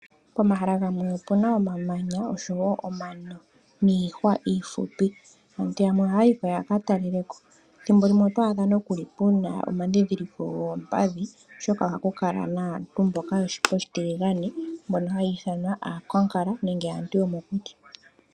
Pomahala gamwe opu na omamanya, oshowo omano, niihwa iifupi. Aantu yamwe ohaya yiko yakatalelepo. Thimbo limwe oto adha nookuli puna omandhindhiliko goompadhi, oshoka ohaku kala naantu mboka yoshipa oshitiligane, mbono haya ithanwa taku ti aakwankala, nenge aantu yomokuti.